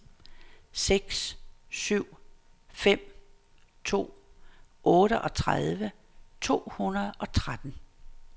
seks syv fem to otteogtredive to hundrede og tretten